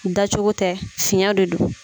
Dacogo tɛ fiɲɛ de don